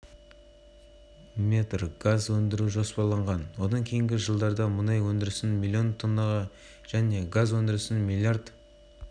өндіру көлемін ұлғайту мақсатында тәулігіне мың баррель деңгейін тұрақтандыру жұмыстары жүруде биылғы жылдың соңына дейін